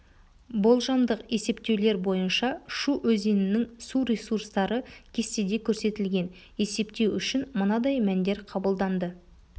болжамдық есептеулер бойынша шу өзенінің су ресурстары кестеде көрсетілген есептеу үшін мынандай мәндер қабылданды